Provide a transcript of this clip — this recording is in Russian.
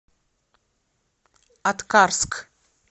аткарск